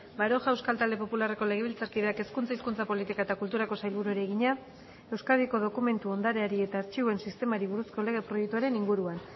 baroja euskal talde popularreko legebiltzarkideak hezkuntza hizkuntza politika eta kulturako sailburuari egina euskadiko dokumentu ondareari eta artxiboen sistemari buruzko lege proiektuaren inguruan